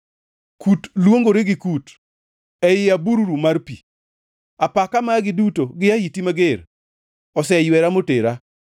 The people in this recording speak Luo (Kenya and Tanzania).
Kut luongore gi kut ei abururu mar pi; apaka magi duto gi ahiti mager oseywera motera.